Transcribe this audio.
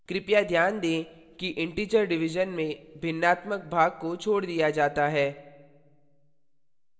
कृपया ध्यान दें कि integer division में भिन्नात्मक भाग को छोड़ दिया जाता है